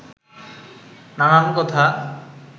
নানান কথা